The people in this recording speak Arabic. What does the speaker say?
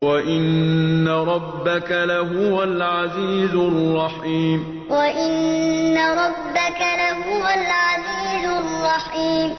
وَإِنَّ رَبَّكَ لَهُوَ الْعَزِيزُ الرَّحِيمُ وَإِنَّ رَبَّكَ لَهُوَ الْعَزِيزُ الرَّحِيمُ